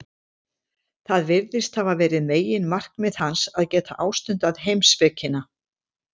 Það virðist hafa verið meginmarkmið hans, að geta ástundað heimspekina.